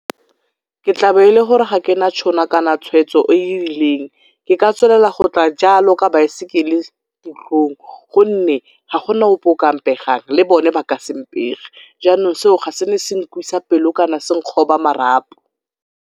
Ke tla be e le gore ga ke na tšhono kana tshwetso e e rileng. Ke ka tswelela go tla jalo ka baesekele tirong gonne ga go na ope o o ka mpegang, le bone ba ka se mpege, jaanong seo ga se ne se nkwisa pelo kana se nkgoba marapo.